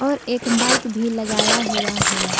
और एक बाइक भी लगाया हुआ है।